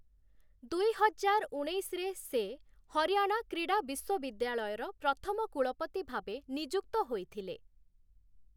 ଦୁଇ ହଜାର ଉଣେଇଶଶହ ରେ ସେ ହରିୟାଣା କ୍ରୀଡ଼ା ବିଶ୍ୱବିଦ୍ୟାଳୟର ପ୍ରଥମ କୁଳପତି ଭାବେ ନିଯୁକ୍ତ ହୋଇଥିଲେ ।